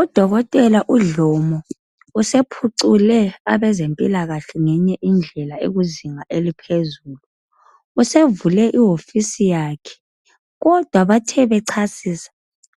Udokotela uDlomo usephucule abezempilakahle ngenye indlela ekuzinga eliphezulu. Usevule iwofisi yakhe kodwa bathe bechasisa